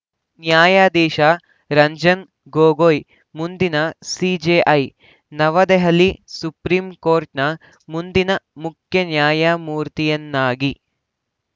ನ್ಯಾಯಾಧೀಶ ರಂಜನ್‌ ಗೊಗೊಯ್‌ ಮುಂದಿನ ಸಿಜೆಐ ನವದೆಹಲಿಸುಪ್ರೀಂಕೋರ್ಟ್‌ನ ಮುಂದಿನ ಮುಖ್ಯನ್ಯಾಯಮೂರ್ತಿಯನ್ನಾಗಿ